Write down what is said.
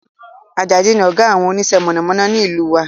Àjàdí ni ọ̀gá àwọn onísẹ́ mọ̀nàmọ́ná ní ìlú wa